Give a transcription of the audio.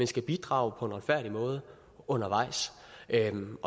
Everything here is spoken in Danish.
skal bidrage på en retfærdig måde undervejs